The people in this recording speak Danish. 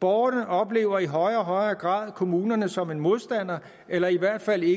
borgerne oplever i højere og højere grad kommunerne som en modstander eller i hvert fald ikke